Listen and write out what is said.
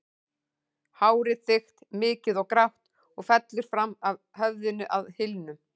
Hárið þykkt, mikið og grátt og fellur fram af höfðinu að hylnum.